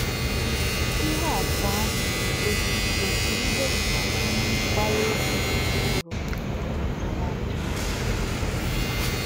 Ìhè àtụ̀ àhụ̀ nà-ègòsí òtú ìhè um gbàrà òkwù gburùgbèrù dìrù nà m̀kpà.